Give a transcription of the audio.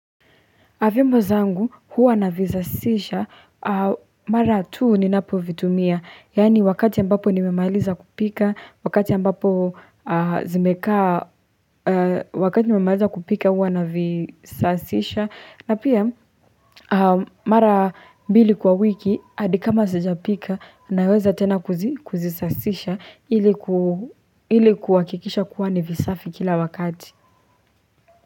Avimbo zangu huwa navisasisha mara tuu ninapo vitumia. Yani wakati ambapo nimemailiza kupika, wakati ambapo zimekaa, wakati nimemailiza kupika huwa na visafisha. Na pia mara mbili kwa wiki hadi kama sijapika naweza tena kuzisafisha ili kuhakikisha kuwa ni visafi kila wakati.